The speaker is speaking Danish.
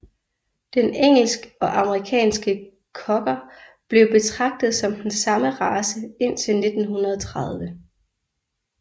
Den engelsk og amerikansk Cocker blev betragtet som den samme race indtil 1930